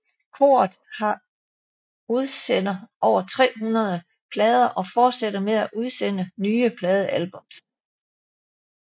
Koret har udsender over 300 plader og fortsætter med at udsende nye pladealbums